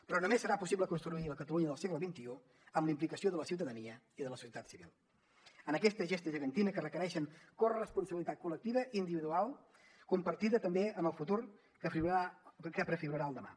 però només serà possible construir la catalunya del segle xxi amb la implicació de la ciutadania i de la societat civil en aquesta gesta gegantina que requereix corresponsabilitat col·lectiva individual compartida també en el futur que prefigurarà el demà